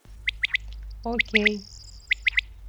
окей